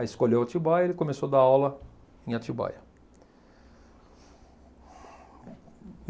Aí escolheu Atibaia e ele começou a dar aula em Atibaia.